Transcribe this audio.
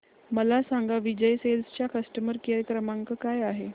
मला सांगा विजय सेल्स चा कस्टमर केअर क्रमांक काय आहे